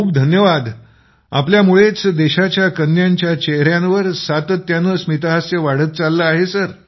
खूप धन्यवादजी आपल्यामुळेच देशाच्या कन्यांच्या चेहऱ्यांवर सातत्याने स्मितहास्य वाढत चाललं आहे